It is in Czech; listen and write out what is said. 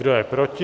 Kdo je proti?